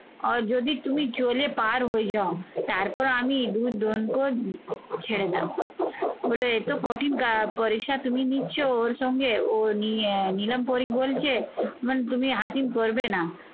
আর যদি তুমি চলে পার হয়ে যাও তারপর আমি ছেড়ে যাব। বলল এতো কঠিন পরিশা তুমি নিচ্ছ ওর সঙ্গে ও নিয়ে নিলাম পরী বলছে মানে তুমি হাকিম করবে না